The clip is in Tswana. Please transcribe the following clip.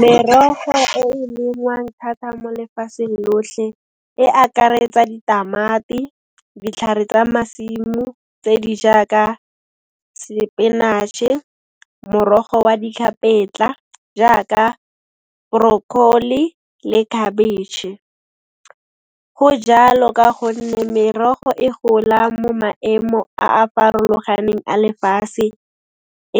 Merogo e e lengwang thatha mo lefaseng lohle e akaretsa ditamati, ditlhare tsa masimo tse di jaaka sepenaše, morogo wa ditlhapetsa, jaaka broccoli le khabetšhe. Go jalo ka gonne merogo e gola mo maemo a a farologaneng a lefase,